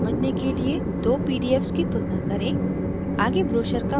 भिन्नता समझने के लिए 2 pdfs की तुलना करें